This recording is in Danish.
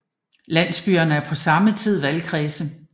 Landsbyerne er på samme tid valgkredse